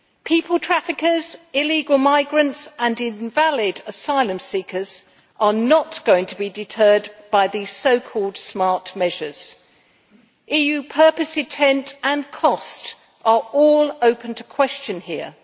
People traffickers, illegal migrants and invalid asylum seekers are not going to be deterred by the so called smart measures. EU purpose, intent and cost are all open to question here.